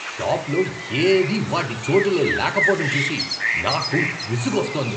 షాప్లో ఏదీ వాటి చోటులో లేకపోవటం చూసి నాకు విసుగొస్తోంది.